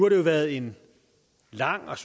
det jo været en lang og